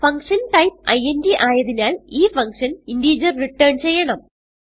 function type int ആയതിനാൽ ഈ function integer return ചെയ്യണം